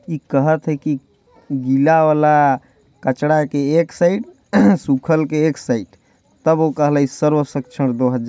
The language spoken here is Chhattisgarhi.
इ कहथ थे की गिला वाला कचरा के एक साइड सूखल के एक साइड तब वो कहलाई सर्व सक्षण दो हज --